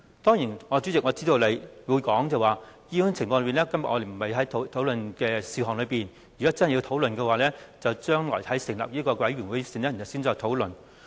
當然，主席，我知道你會指出這不屬於我們今天討論的事項，如果真的要討論，應該留待將來成立調查委員會後再討論。